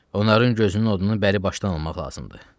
Onların gözünün odunu bəri başdan almaq lazımdır.